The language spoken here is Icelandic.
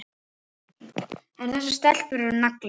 En þessar stelpur eru naglar.